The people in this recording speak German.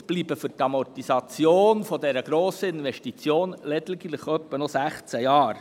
Somit bleiben für die Amortisation dieser Grossinvestition lediglich etwa 16 Jahre.